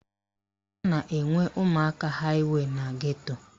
A na-enwe ụmụaka haịwey na geto